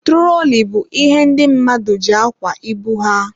Turoli bụ ihe ndị mmadụ ji akwa ibu ha.